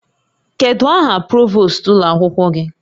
Kedu aha provost ụlọ akwụkwọ gị?